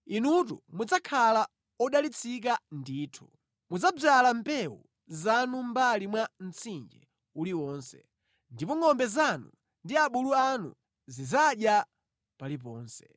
inutu mudzakhala odalitsika ndithu. Mudzadzala mbewu zanu mʼmbali mwa mtsinje uliwonse, ndipo ngʼombe zanu ndi abulu anu zidzadya paliponse.